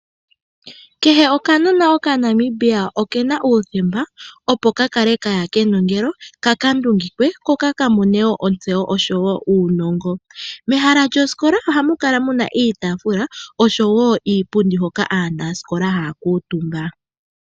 Kehe okanonana okaNamibia okena uuthemba opo ka kale kaya kenongelo kakanduungikwe koka kamone woo otsewo osho woo uunongo. Mehala lyosikola ohamu kala muna iitaafula osho woo iipundi hoka aanasikola haya kuutumba.